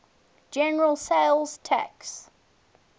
general sales tax